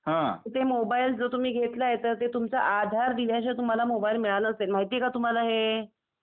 तर ते मोबाईल जो तुम्ही घेतलाय ते तुमचा आधार दिल्या शिवाय मोबाईल तुम्हाला मिळाला नसेल, माहिती आहे का तुम्हाला हे?